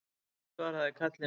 Fólkið svaraði kallinu